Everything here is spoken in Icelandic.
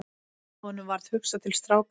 Honum varð hugsað til strákanna.